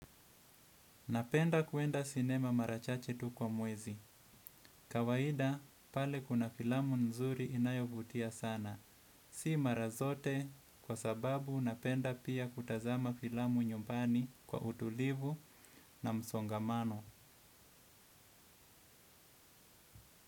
Napenda kuenda sinema mara chache tu kwa mwezi. Kawaida pale kuna filamu nzuri inayovutia sana. Si mara zote kwa sababu napenda pia kutazama filamu nyumbani kwa utulivu na msongamano.